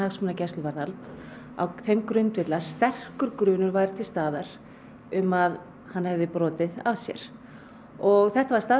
á þeim grundvelli að sterkur grunur væri til staðar um að hann hefði brotið af sér og þetta var staðfest í Héraðsdómi og